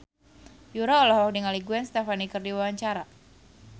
Yura olohok ningali Gwen Stefani keur diwawancara